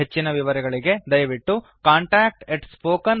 ಹೆಚ್ಚಿನ ವಿವರಗಳಿಗೆ ದಯವಿಟ್ಟು contactspoken tutorialorg ಇಲ್ಲಿ ಸಂಪರ್ಕಿಸಿ